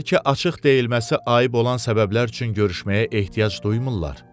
Bəlkə açıq deyilməsi ayıb olan səbəblər üçün görüşməyə ehtiyac duymurlar.